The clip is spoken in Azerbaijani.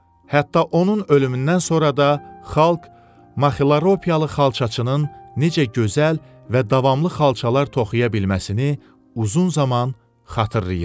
Hətta onun ölümündən sonra da xalq Maxiropiyalı xalçaçının necə gözəl və davamlı xalçalar toxuya bilməsini uzun zaman xatırlayırdı.